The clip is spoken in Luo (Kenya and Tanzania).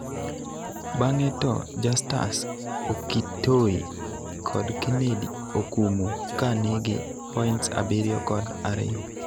bang'e to Justus Okitoyi kod Kennedy Okumu ka nigi points abiriyo kod ariyo